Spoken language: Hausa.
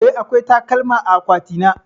Eh, akwai takalma a akwatina.